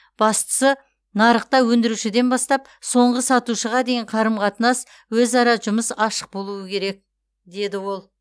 бастысы нарықта өндірушіден бастап соңғы сатушыға дейін қарым қатынас өзара жұмыс ашық болуы керек деді ол